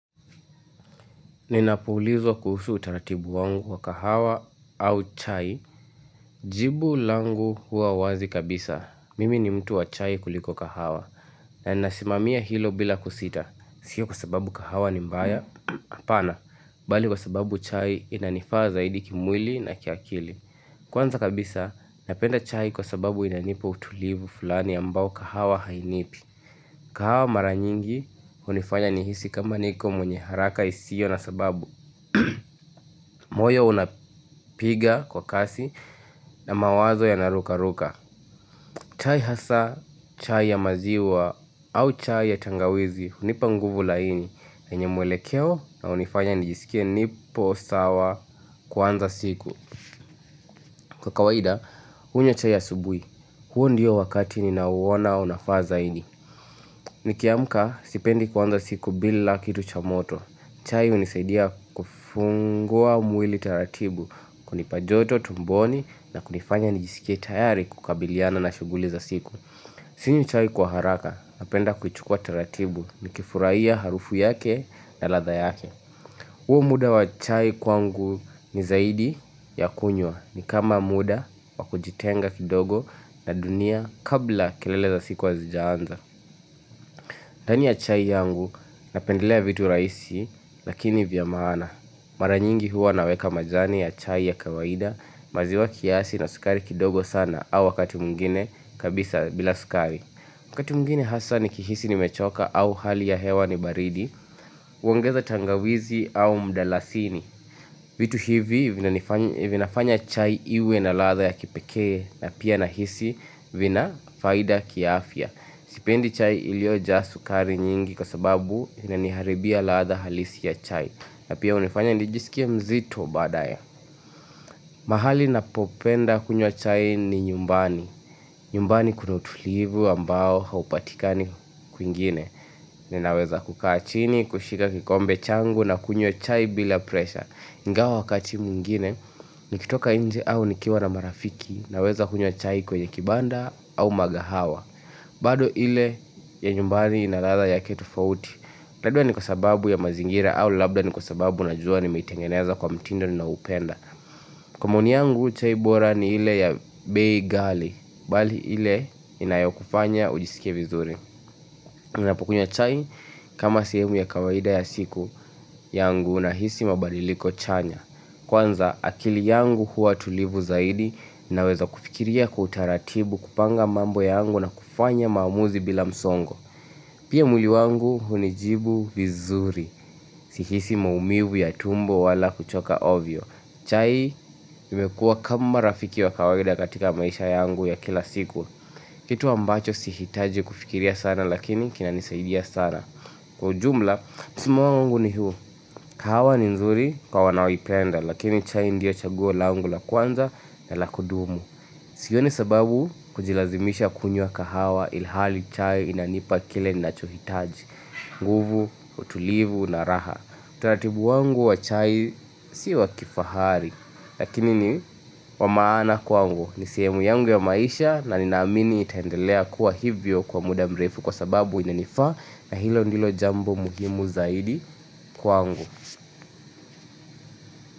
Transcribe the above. Ninapo ulizwa kuhusu utaratibu wangu wa kahawa au chai jibu langu hua wazi kabisa. Mimi ni mtu wa chai kuliko kahawa. Nasimamia hilo bila kusita, sio kwa sababu kahawa ni mbaya. Hapana, bali kwa sababu chai inanifaa zaidi kimwili na kiakili Kwanza kabisa, napenda chai kwa sababu inanipa utulivu fulani ambao kahawa hainipi kahawa mara nyingi, hunifanya nihisi kama niko mwenye haraka isio na sababu. Moyo unapiga kwa kasi na mawazo yana ruka ruka chai hasa, chai ya maziwa au chai ya tangawizi, unipa nguvu laini yenye mwelekeo na unifanya nijisikie nipo sawa kuanza siku. Kwa kawaida, unywe chai asubui huo ndiyo wakati ninauona unafaa zaidi Nikiamka, sipendi kuanza siku bila kitu cha moto chai unisaidia kufungua mwili taratibu kunipa joto tumboni na kunifanya nijiskie tayari kukabiliana na shuguli za siku Sinywi chai kwa haraka, napenda kuchukua taratibu nikifurahia harufu yake na ladha yake huo muda wa chai kwangu ni zaidi ya kunywa. Nikama muda wa kujitenga kidogo na dunia kabla kelele za siku hazijaanza Tani ya chai yangu napendelea vitu rahisi lakini vya maana. Mara nyingi huwa naweka majani ya chai ya kawaida, maziwa kiasi na sukari kidogo sana, au wakati mwingine kabisa bila sukari. Wakati mwingine hasa nikihisi nimechoka au hali ya hewa ni baridi huongeza tangawizi au mdalasini vitu hivi vinafanya chai iwe na ladha ya kipekee na pia nahisi vina faidha kiafya. Sipendi chai ilioja sukari nyingi kwa sababu inaniharibia ladha halisi ya chai na pia hunifanya nijisikie mzito baadae mahali napopenda kunywa chai ni nyumbani. Nyumbani kuna utulivu ambao haupatikani kwingine Ninaweza kukaa chini, kushika kikombe changu na kunywa chai bila presha. Ingawa wakati mwingine, nikitoka nje au nikiwa na marafiki, naweza kunywa chai kwenye kibanda au magahawa bado ile ya nyumbani inaladha yake tofauti. Labda ni kwa sababu ya mazingira au labda ni kwa sababu najua nimeitengeneza kwa mtindo ninaupenda. Kwa maoni yangu chai bora ni ile ya bei ghali, bali ile inayokufanya ujiskie vizuri. Ninapo kunywa chai kama sehemu ya kawaida ya siku yangu nahisi mabaliliko chanya. Kwanza, akili yangu huwa tulivu zaidi naweza kufikiria kwa utaratibu kupanga mambo yangu na kufanya maamuzi bila msongo. Pia mwili wangu hunijibu vizuri, sihisi maumivu ya tumbo wala kuchoka ovyo. Chai imekuwa kama rafiki wa kawaida katika maisha yangu ya kila siku. Kitu ambacho sihitaji kufikiria sana lakini kinanisaidia sana. Kwa ujumla, msimamo wangu ni huo. Kahawa ni nzuri kwa wanaoipenda lakini chai ndiyo chaguo langu la kwanza na la kudumu. Sioni sababu kujilazimisha kunywa kahawa ilhali chai inanipa kile ninacho hitaji. Nguvu, utulivu na raha. Utaratibu wangu wa chai sio wa kifahari. Lakini ni wa maana kwangu. Ni sehemu yangu ya maisha na ninaamini itendelea kuwa hivyo kwa muda mrefu kwa sababu inanifaa na hilo ndilo jambo muhimu zaidi kwangu.